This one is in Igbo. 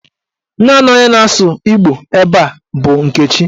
Naanị onye na-asụ Igbo ebe a bụ Nkechi.